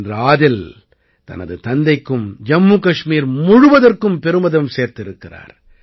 இன்று ஆதில் தனது தந்தைக்கும் ஜம்மு கஷ்மீர் முழுவதற்கும் பெருமிதம் சேர்த்திருக்கிறார்